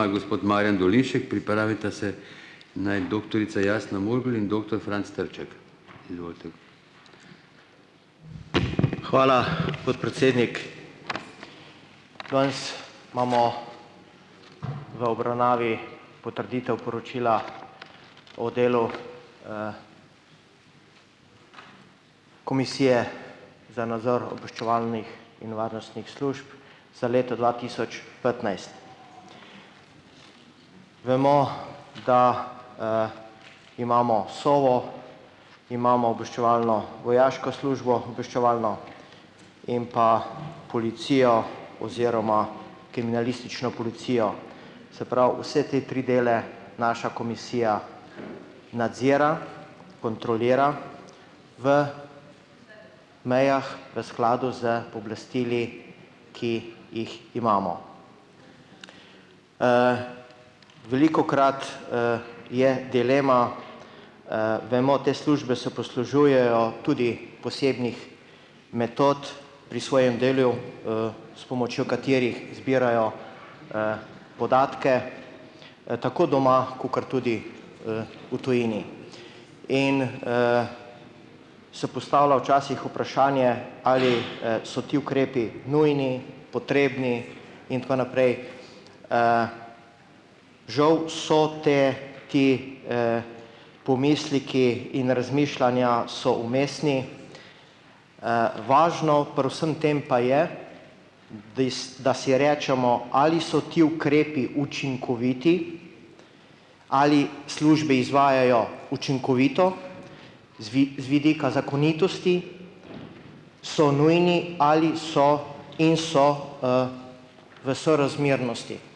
Hvala, podpredsednik. Danes imamo v obravnavi potrditev poročila o delu, Komisije za nadzor in varnostnih služb sedaj leto dva tisoč petnajst. Vemo, da, imamo Sovo, imamo obvščevalno vojaško službo obveščevalno in pa policijo oziroma kriminalistično policijo. Se pravi, vse te tri dele naša komisija nadzira, kontrolira v mejah v skladu s pooblastili, ki jih imamo. Velikokrat, je dilema, vemo te službe se poslužujejo tudi posebnih metod pri svojem delu, s pomočjo katerih zbirajo, podatke, tako doma, kakor tudi, v tujini. In, se postavlja včasih vprašanje, ali, so ti ukrepi nujni, potrebni in tako naprej. Žal so te ti, pomisleki in razmišljanja so umestni. važno pri vsem tem pa je, dis da si recimo ali so ti ukrepi učinkoviti ali službi izvajajo učinkovito z z vidika zakonitosti, so nujni ali so in so, v sorazmernosti.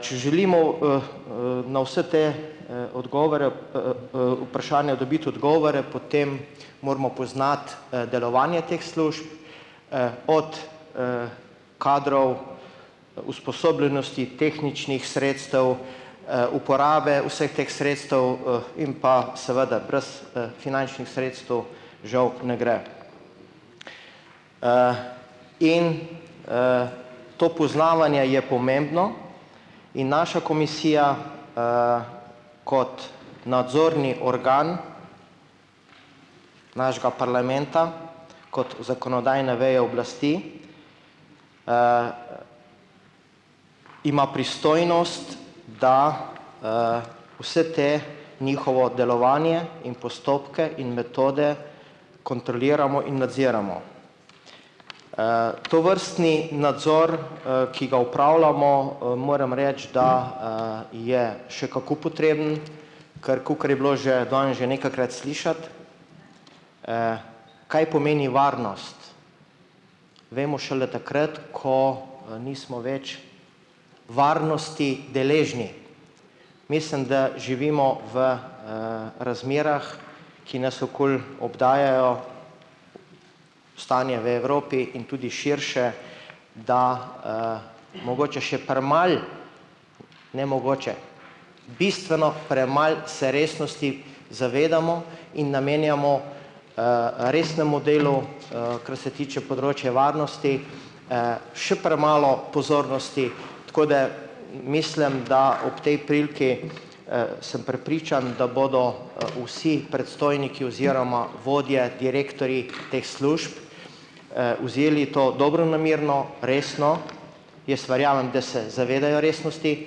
če želimo, na vse te, odgovore, vprašanja dobiti odgovore, potem moramo poznati, delovanje teh služb, od, kadrov, usposobljenosti, tehničnih sredstev, uporabe vseh teh sredstev, in pa seveda brez, finančnih sredstev žal ne gre. In, to poznavanje je pomembno. In naša komisija, kot nadzorni organ našega parlamenta, kot zakonodajne veje oblasti, ima pristojnost, da, vse te njihovo delovanje in postopke in metode kontroliramo in nadziramo. tovrstni nadzor, ki ga opravljamo, moram reči, da, je še kako potreben, kar kakor je bilo že danes že nekajkrat slišati, kaj pomeni varnost, vemo šele takrat, ko, nismo več varnosti deležni. Mislim, da živimo v, razmerah, ki nas okoli obdajajo, stanje v Evropi in tudi širše, da, mogoče še premalo, ne mogoče, bistveno premalo se resnosti zavedamo in namenjamo, resnemu delu, kar se tiče področja varnosti, še premalo pozornosti. Tako da, mislim, da ob tej priliki, sem prepričan, da bodo, vsi predstojniki oziroma vodje, direktorji teh služb, vzeli to dobronamerno, resno. Jaz verjamem, da se zavedajo resnosti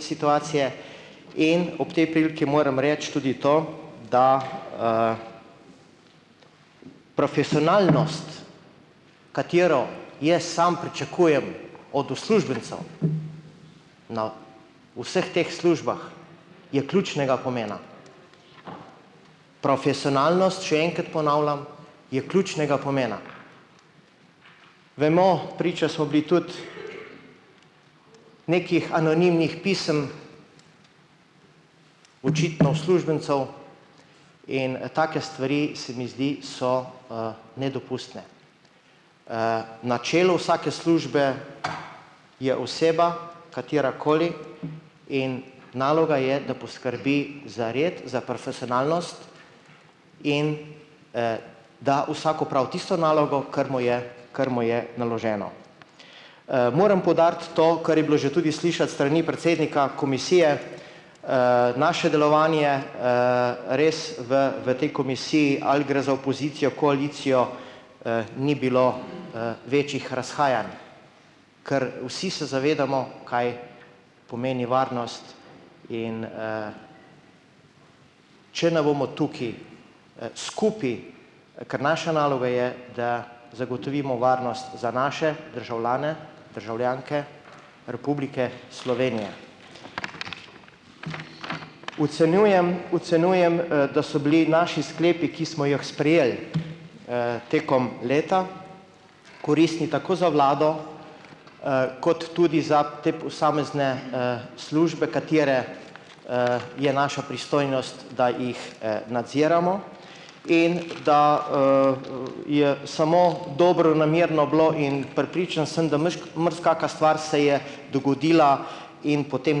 situacije in ob tej priliki moram reči tudi to, da, profesionalnost, katero jaz sam pričakujem od na vseh teh službah je ključnega pomena. Profesionalnost, še enkrat ponavljam, je ključnega pomena. Vemo, priče smo bili tudi nekih anonimnih pisem očitno uslužbencev in, take stvari, se mi zdi, so, nedopustne. na čelu vsake službe je oseba, katera koli, in naloga je, da poskrbi za red, za in, da vsak opravi tisto nalogo, ker mu je, kar mu je naloženo. moram poudariti to, kar je bilo že tudi slišati s strani predsednika komisije, naše delovanje, res v v tej komisiji ali gre za opozicijo, koalicijo, ni bilo, večih razhajanj. Ker vsi se zavedamo, kaj pomeni varnost in, če ne bomo tukaj, skupaj, ker naša naloga je, da zagotovimo varnost za naše državljane, državljanke Republike Slovenije. Ocenjujem, ocenjujem, da so bili naši sklepi, ki smo jih sprejeli, tekom leta, koristni tako za vlado, kot tudi za te posamezne, službe, katere, je naša pristojnost, da jih, nadziramo in da, je samo dobronamerno bilo in prepričan sem, da marsikaka stvar se je dogodila in potem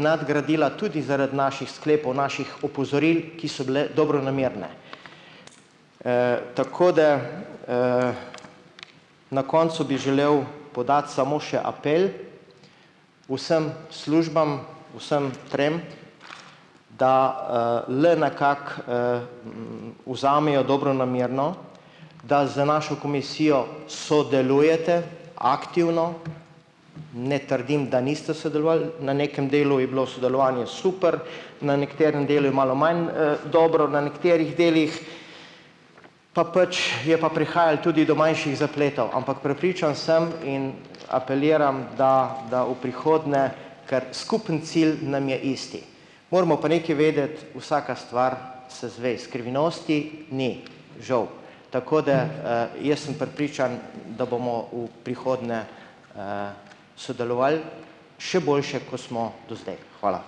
nadgradila tudi zaradi naših sklepov, naših opozoril, ki so bile dobronamerne. tako da, na koncu bi želel podati samo še apel vsem službam, vsem trem, da, le nekako, vzamejo dobronamerno da z našo komisijo sodelujete aktivno. Ne trdim, da niste sodelovali, na nekem delu je bilo sodelovanje super, na nekaterem delu je malo manj, dobro, na nekaterih delih pa pač je pa prihajalo tudi do manjših zapletov. Ampak prepričan sem in apeliram, da da v prihodnje, ker skupni cilj nam je isti. Moramo pa nekaj vedeti, vsaka stvar se izve, skrivnosti ni, žal. Tako da, jaz sem prepričan, da bomo v prihodnje, sodelovali, še boljše, ko smo do zdaj. Hvala.